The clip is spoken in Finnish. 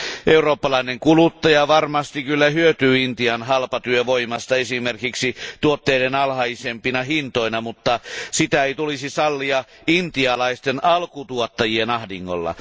Eurooppalainen kuluttaja varmasti kyllä hyötyy Intian halpatyövoimasta esimerkiksi tuotteiden alhaisempina hintoina, mutta sitä ei tulisi sallia intialaisten alkutuottajien ahdingolla.